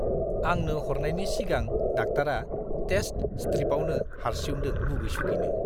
आंनो हरनायनि सिगां डाक्टारा टेस्ट स्ट्रिपावनो हारसिउदों मुगै-सुगैनो।